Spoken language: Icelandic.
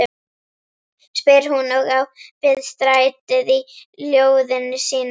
spyr hún, og á við strætið í ljóðinu sínu.